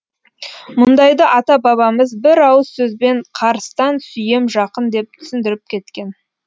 мұндайды ата бабамыз бір ауыз сөзбен қарыстан сүйем жақын деп түсіндіріп кеткен